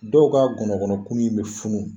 Dɔw ka gɔnɔkɔnɔ kuru in bɛ funu.